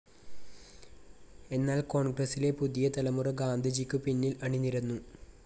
എന്നാൽ കോൺഗ്രസ്സിലെ പുതിയ തലമുറ ഗാന്ധിജിക്കു പിന്നിൽ അണിനിരന്നു.